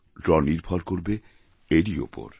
draw নির্ভর করবে এরই ওপর